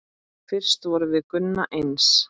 Fyrst vorum við Gunna eins.